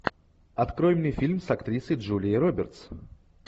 открой мне фильм с актрисой джулией робертс